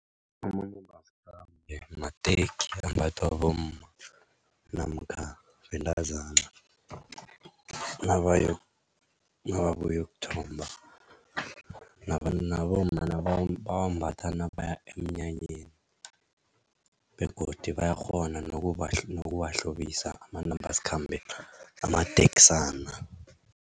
Amanambasikhambe mateki ambathwa bomma namkha bentazana nababuyokuthomba nababomma bawambatha nabaya emnyanyeni begodu bayakghona nokuwahlobisa amanambasikhambe amateksana.